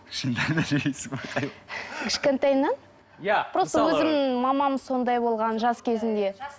кішкентайымнан иә просто өзімнің мамам сондай болған жас кезінде